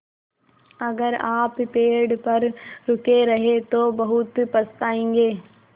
अगर आप पेड़ पर रुके रहे तो बहुत पछताएँगे